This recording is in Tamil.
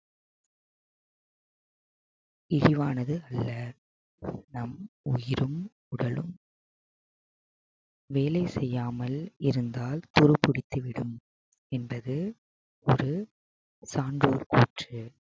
இழிவானது அல்ல நம் உயிரும் உடலும் வேலை செய்யாமல் இருந்தால் துரு பிடித்து விடும் என்பது ஒரு சான்றோர் கூற்று